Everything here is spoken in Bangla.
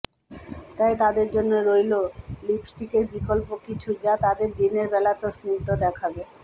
তাই তাদের জন্য রইল লিপস্টিকের বিকল্প কিছু যা তাদের দিনের বেলাতেও স্নিগ্ধ দেখাবে